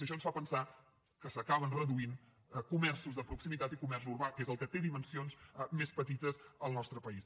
i això ens fa pensar que s’acaben reduint comerços de proximitat i comerç urbà que és el que té dimensions més petites al nostre país